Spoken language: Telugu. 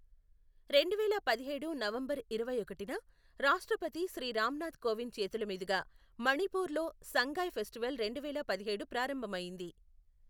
రెండువేల పదిహేడు నవంబర్ ఇరవై ఒకటిన రాష్ట్రపతి శ్రీ రామ్ నాథ్ కోవింద్ చేతులమీదుగా మణిపూర్లో సంగాయ్ ఫెస్టివల్ రెండువేల పదిహేడు ప్రారంభమయ్యింది.